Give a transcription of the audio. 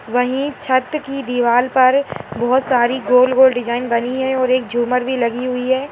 वहीं छत की दीवाल पर बहुत सारी गोल-गोल डिज़ाइन बनी है और एक झूमर भी लगी हुई है।